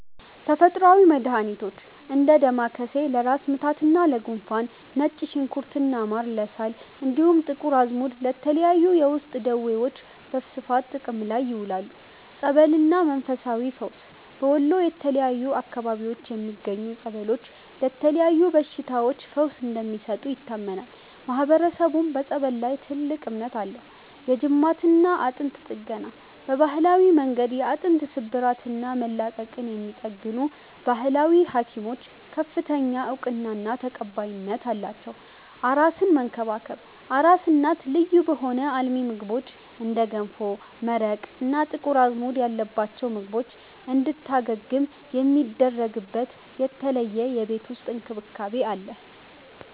ተፈጥሮአዊ መድሃኒቶች፦ እንደ ዳማከሴ (ለራስ ምታትና ለጉንፋን)፣ ነጭ ሽንኩርትና ማር (ለሳል)፣ እንዲሁም ጥቁር አዝሙድ ለተለያዩ የውስጥ ደዌዎች በስፋት ጥቅም ላይ ይውላሉ። ጸበልና መንፈሳዊ ፈውስ፦ በወሎ የተለያዩ አካባቢዎች የሚገኙ ጸበሎች ለተለያዩ በሽታዎች ፈውስ እንደሚሰጡ ይታመናል፤ ማህበረሰቡም በጸበል ላይ ትልቅ እምነት አለው። የጅማትና አጥንት ጥገና፦ በባህላዊ መንገድ የአጥንት ስብራትና መላቀቅን የሚጠግኑ "ባህላዊ ሀኪሞች" ከፍተኛ እውቅናና ተቀባይነት አላቸው። አራስን መንከባከብ፦ አራስ እናት ልዩ በሆኑ አልሚ ምግቦች (እንደ ገንፎ፣ መረቅ እና ጥቁር አዝሙድ ያለባቸው ምግቦች) እንድታገግም የሚደረግበት የተለየ የቤት ውስጥ እንክብካቤ አለ።